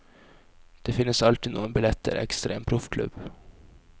Det finnes alltid noen billetter ekstra i en proffklubb.